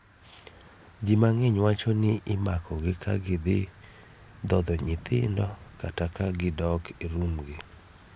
Ji mang'eny wacho ni imakogi ka gidhi dhodho nyithindo kata ka gidok e rum gi